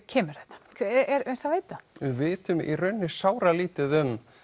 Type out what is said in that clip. kemur þetta er það vitað við vitum í raun sáralítið um